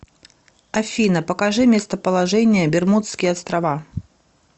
афина покажи местоположение бермудские острова